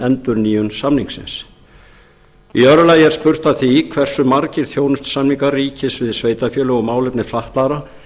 endurnýjun samningsins í öðru lagi er spurt að því hversu margir þjónustusamningar ríkis við sveitarfélög um málefni fatlaðra